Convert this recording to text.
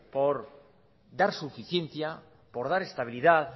por dar suficiencia por dar estabilidad